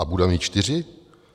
A bude mít čtyři.